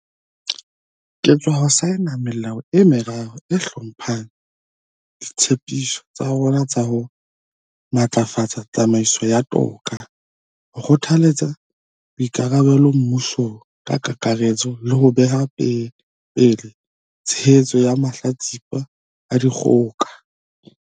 Ke sa tswa saena melao e meraro e hlomphang ditshe piso tsa rona tsa ho matlafatsa tsamaiso ya toka, ho kgothaletsa boikarabelo mmusong ka kakaretso le ho beha pele tshehetso ya mahlatsipa a dikgoka.